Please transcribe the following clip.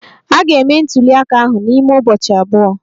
A ga-eme ntuli aka ahụ n'ime ụbọchị abụọ.